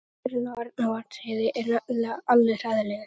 Vindurinn á Arnarvatnsheiði er nefnilega alveg hræðilegur.